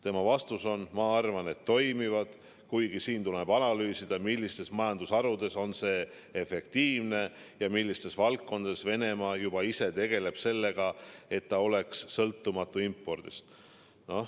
" Tema vastus on: "Ma arvan, et toimivad, kuigi siin tuleb analüüsida, millistes majandusharudes on see efektiivne ja millistes valdkondades Venemaa juba ise tegeleb sellega, et ta oleks sõltumatu impordist.